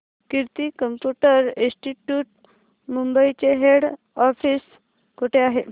कीर्ती computer institute Mumbai चे head office कुठे आहे